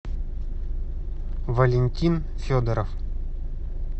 валентин федоров